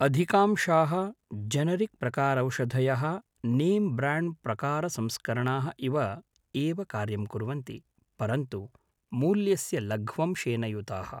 अधिकांशाः जेनेरिक्प्रकारौषधयः नें ब्राण्ड्प्रकारसंस्करणाः इव एव कार्यं कुर्वन्ति, परन्तु मूल्यस्य लघ्वंशेन युताः।